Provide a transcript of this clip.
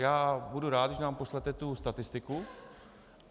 Já budu rád, když nám pošlete tu statistiku.